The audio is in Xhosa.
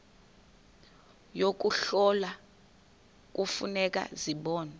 yokuhlola kufuneka zibonwe